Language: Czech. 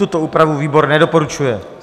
Tuto úpravu výbor nedoporučuje.